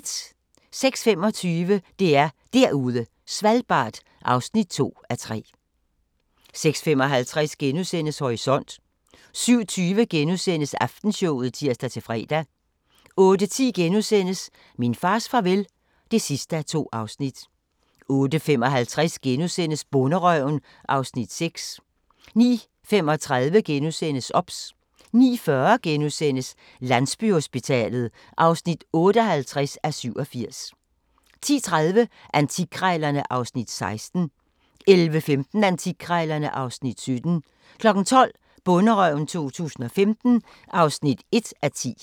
06:25: DR Derude Svalbard (2:3) 06:55: Horisont * 07:20: Aftenshowet *(tir-fre) 08:10: Min fars farvel (2:2)* 08:55: Bonderøven (Afs. 6)* 09:35: OBS * 09:40: Landsbyhospitalet (58:87)* 10:30: Antikkrejlerne (Afs. 16) 11:15: Antikkrejlerne (Afs. 17) 12:00: Bonderøven 2015 (1:10)